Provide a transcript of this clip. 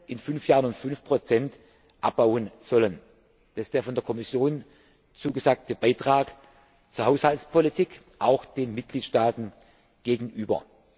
in fünf Jahren um 5 abbauen sollen. Das ist der von der Kommission zugesagte Beitrag zur Haushaltspolitik, auch den Mitgliedstaaten gegenüber.